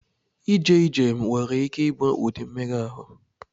Ije ije nwere ike ịbụ ụdị mmega ahụ.